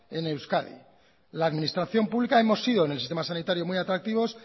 en euskadi la administración pública hemos sido en el sistema sanitario muy atractivos